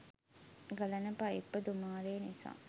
ගලන පයිප්ප දුමාරය නිසා